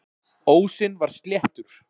Ósinn var sléttur.